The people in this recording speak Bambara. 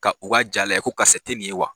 Ka u ka ja lajɛ ko karisa tɛ nin ye wa